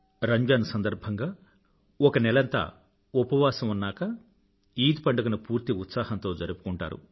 రంజాన్ సందర్భంగా ఒక నెలంతా ఉపవాసం ఉన్నాకా ఈద్ పండుగ ను పూర్తి ఉత్సాహంతో జరుపుకుంటారు